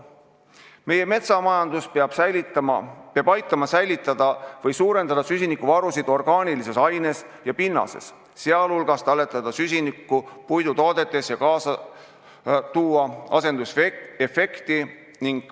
Meie metsamajandus peab aitama säilitada või suurendada süsinikuvarusid orgaanilises aines ja pinnases, sh talletada süsinikku puittoodetes ja tekitada asendusefekti.